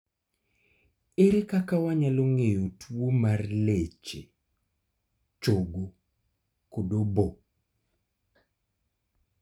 Ere kaka wanyalo ng'eyo tuo mar leche, chogo kod obo?